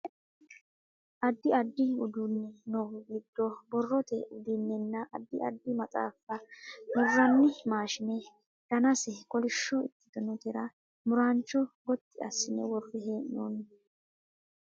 addi addi uduunni noohu giddo borrote udunnenna addi adddi maxaaffa murranni maashine danase kolishsho ikkitinotera muraancho gotti assine worre hee'noonni